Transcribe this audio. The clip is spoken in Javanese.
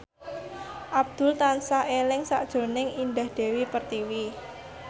Abdul tansah eling sakjroning Indah Dewi Pertiwi